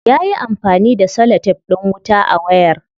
Yayi amfani da celotef din wuta a wayar.